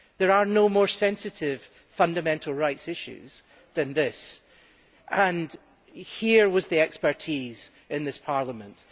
There are no more sensitive fundamental rights issues than this, and here was the expertise in this Parliament.